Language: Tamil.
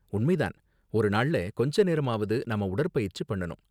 உண்மை தான், ஒரு நாள்ல கொஞ்ச நேரமாவது நாம உடற்பயிற்சி பண்ணனும்.